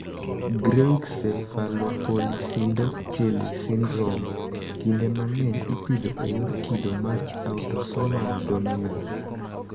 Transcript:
Greig cephalopolysyndactyly syndrome (GCPS) kinde mang'eny ipidho e yor kido mar autosomal dominant.